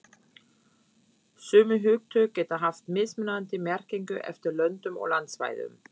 Sömu hugtök geta haft mismunandi merkingu eftir löndum og landsvæðum.